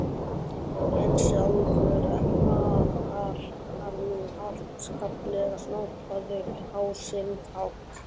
En sjálfur var hann afskaplega snobbaður- á sinn hátt.